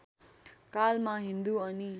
कालमा हिन्दु अनि